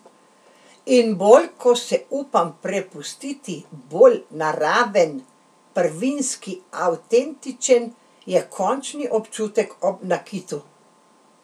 In bolj ko se upam prepustiti, bolj naraven, prvinski, avtentičen je končni občutek ob nakitu.